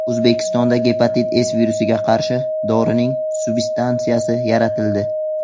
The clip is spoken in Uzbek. O‘zbekistonda gepatit C virusiga qarshi dorining substansiyasi yaratildi.